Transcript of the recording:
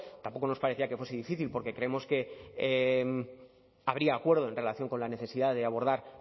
tampoco nos parecía que fuese difícil porque creemos que habría acuerdo en relación con la necesidad de abordar